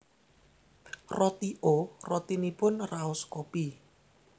Roti O rotinipun raos kopi